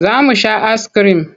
Za mu sha askirim.